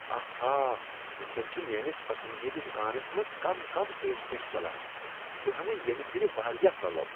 آہا! وٕنۍکین چھ میٲنس پسندیٖدٕ دکانس منٛز کم کم پیش کش چلان۔ بہٕ ہیمہٕ ییٚمہ پھر واریاہ پلو۔